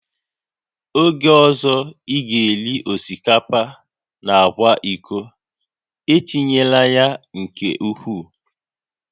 Oge ọzọ ị ga-eri osikapa na agwa iko, etinyela ya nke ukwuu